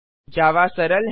जावा सरल है